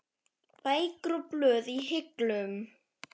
Bækur og blöð í hillum.